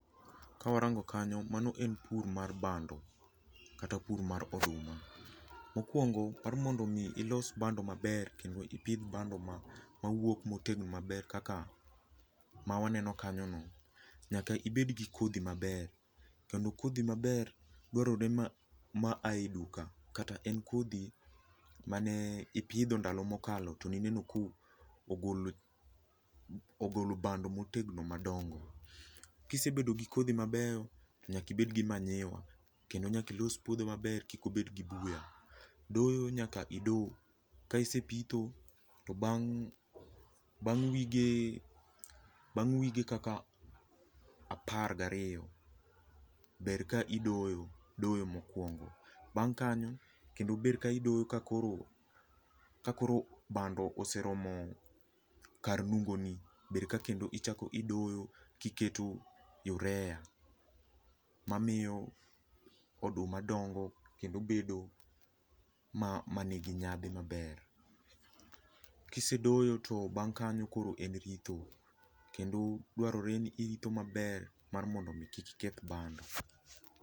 Ka warango kanyo, mano en pur mar bando kata pur mar oduma. Mokuongo mar mondo mi ilos bando maber kendo ipidh bando mawuok motegno maber kaka ma waneno kanyo no nyaka ibed gi kodhi maber kendo kodhi maber dwarore ma aye duka kata en kodhi mane ipidho ndalo mokalo tone ineno ka owuok, ogolo bando motegno madongo. Kisebedo gi kodhi mabeyo nyaka ibed gi manyiwa kendo nyaka ilos puodho maber kik obed gi buya. Doyo nyaka ido, ka isepitho to bang wige, bang wige kaka apar gariyo ber ka idoyo, doyo mokuongo. Bang kanyo kendo bed ka idoyo ka koro, ka koro bando oseromo kar nungoni, ber ka kendo ichako idoyo kiketo urea mamiyo oduma dongo kendo bedo manigi nyadhi maber. Kisedoyo to bang kanyo koro en ritho kendo dwarore ni iritho maber mar mondo kik iketh bando